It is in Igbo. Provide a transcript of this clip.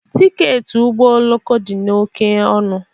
Tiketi ụgbọ oloko dị oke ọnụ